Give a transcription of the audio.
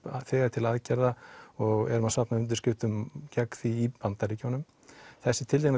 til aðgerða og erum að safna undirskriftum gegn því í Bandaríkjunum þessi tiltekna